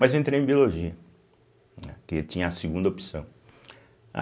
Mas entrei em Biologia, né, que tinha a segunda opção.